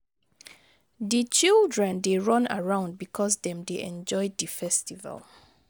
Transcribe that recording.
Di children dey run around bicos dem dey enjoy di festival.